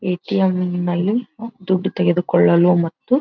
ATM ಇಂದಾಗಿ ದುಡ್ಡು ತೆಗೆದುಕೊಳ್ಳಲು ಮತ್ತು --